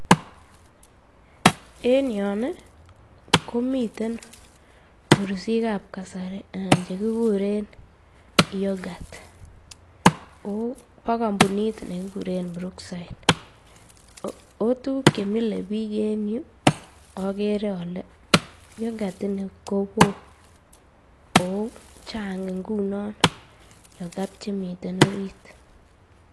En yoon komten mursikab kasari anan chekikuren yoghurt oo bo kombunit nekikuren Brook side, oo tukuk chemile biik en yuu okere olee yoghurt kowoo oo chang ingunon yoghurt chemiten oriit.